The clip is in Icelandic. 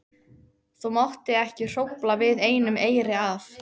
Það mátti ekki hrófla við einum eyri af